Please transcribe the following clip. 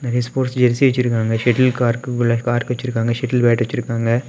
நெறைய sports jersey வெச்சிருக்காங்க shuttle கார்க்குள்ள கார்க் வச்சிருக்காங்க ஷாட்டில் பேட் வச்சிருக்காங்க.